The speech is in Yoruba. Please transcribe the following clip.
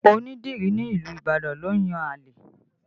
Ọ̀pọ̀ onídìrí nílùú Ibadan ló ń yan àlè